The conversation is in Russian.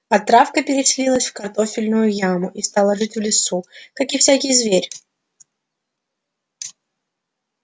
а травка переселилась в картофельную яму и стала жить в лесу как и всякий зверь